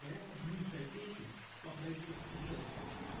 моя подгнившая печень по производству жёлчи